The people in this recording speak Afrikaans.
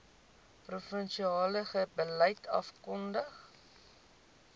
provinsiale beleid afgekondig